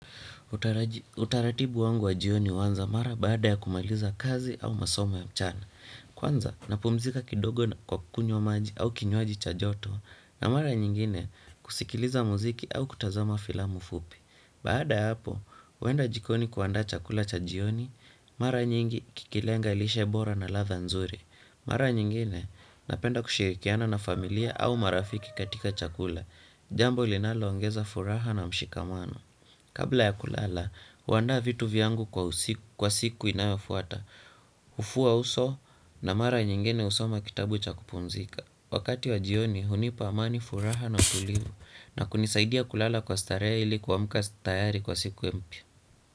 Utaratibu wangu wa jioni huanza mara baada ya kumaliza kazi au masomo ya mchana. Kwanza napumzika kidogo kwa kunywa maji au kinywaji cha joto na mara nyingine kusikiliza muziki au kutazama filamu fupi. Baada ya hapo, huenda jikoni kuandaa chakula cha jioni, mara nyingi kikilenga lishe bora na ladha nzuri. Mara nyingine napenda kushirikiana na familia au marafiki katika chakula, jambo linaloongeza furaha na mshikamano. Kabla ya kulala, huandaa vitu vyangu kwa siku inayofuata, hufua uso na mara nyingine husoma kitabu cha kupumzika. Wakati wa jioni hunipa amani furaha na utulivu na kunisaidia kulala kwa starehe ili kuamka tayari kwa siku mpya.